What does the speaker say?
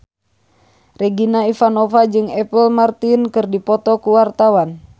Regina Ivanova jeung Apple Martin keur dipoto ku wartawan